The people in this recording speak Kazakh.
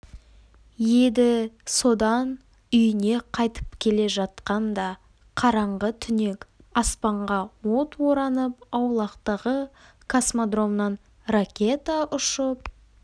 еді содан үйіне қайтып келе жатқанда қараңғы түнек аспанға от оранып аулақтағы космодромнан ракета ұшып